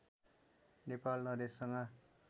Nepal नरेशसँग